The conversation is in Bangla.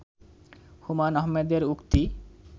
হুমায়ুন আহমেদ এর উক্তি